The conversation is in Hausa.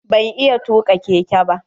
Ban iya tuka keke ba.